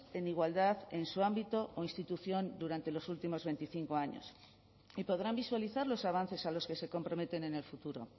en igualdad en su ámbito o institución durante los últimos veinticinco años y podrán visualizar los avances a los que se comprometen en el futuro